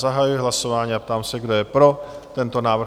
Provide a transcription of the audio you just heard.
Zahajuji hlasování a ptám se, kdo je pro tento návrh?